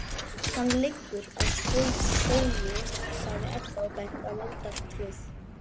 Hann liggur að skógi, sagði Edda og benti á moldartröð.